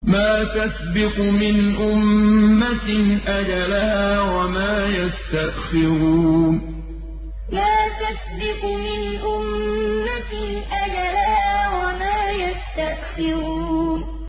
مَّا تَسْبِقُ مِنْ أُمَّةٍ أَجَلَهَا وَمَا يَسْتَأْخِرُونَ مَّا تَسْبِقُ مِنْ أُمَّةٍ أَجَلَهَا وَمَا يَسْتَأْخِرُونَ